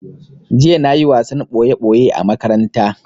Jiya na yi wasan ɓoye ɓoye a makaranta